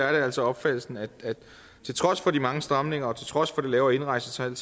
er det altså opfattelsen at til trods for de mange stramninger og til trods for det lavere indrejsetal